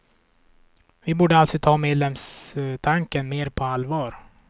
Vi borde alltså ta medlemskapstanken mer på allvar.